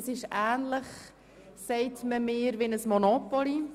Man sagte mir, es sei ähnlich wie das Monopoly.